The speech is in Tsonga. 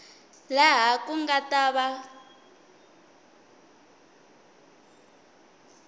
laha ku nga ta va